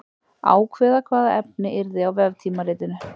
Ákveða hvaða efni yrði á veftímaritinu.